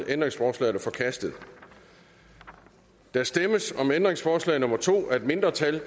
ændringsforslaget er forkastet der stemmes om ændringsforslag nummer to af et mindretal